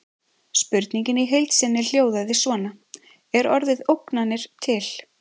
Spurningin í heild sinni hljóðaði svona: Er orðið ógnanir til?